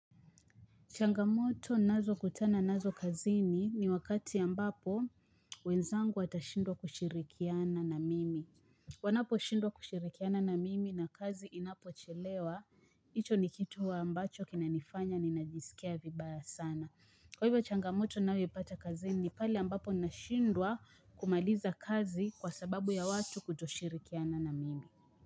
Changamoto ninazokutana nazo kazini ni wakati ambapo wenzangu watashindwa kushirikiana na mimi. Wanaposhindwa kushirikiana na mimi na kazi inapochelewa, hicho ni kitu ambacho kinanifanya ninajisikia vibaya sana. Kwa hivyo changamoto ninayoipata kazini ni pale ambapo nashindwa kumaliza kazi kwa sababu ya watu kutoshirikiana na mimi.